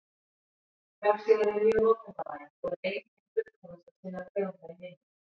Vefsíðan er mjög notendavæn og er ein hin fullkomnasta sinnar tegundar í heiminum.